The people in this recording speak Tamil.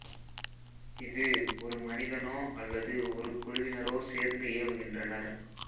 இது ஒரு மனிதனோ அல்லது ஒரு குழுவினரோ சேர்ந்து ஏவுகின்றனர்